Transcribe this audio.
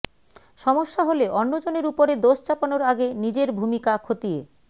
সমস্যা হলে অন্যজনের উপরে দোষ চাপানোর আগে নিজের ভূমিকা খতিয়ে